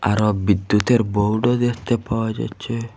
আরো বিদ্যুতের বোর্ডও দেখতে পাওয়া যাচ্ছে।